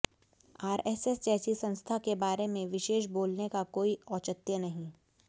RSS जैसी संस्था के बारे में विशेष बोलने का कोई औचित्य नहीं